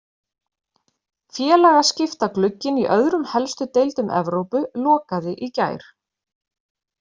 Félagaskiptaglugginn í öðrum helstu deildum Evrópu lokaði í gær.